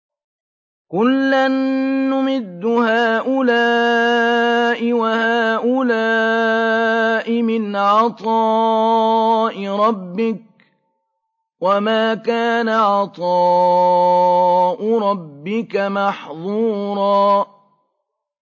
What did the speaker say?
كُلًّا نُّمِدُّ هَٰؤُلَاءِ وَهَٰؤُلَاءِ مِنْ عَطَاءِ رَبِّكَ ۚ وَمَا كَانَ عَطَاءُ رَبِّكَ مَحْظُورًا